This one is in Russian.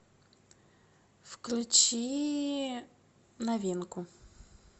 включи новинку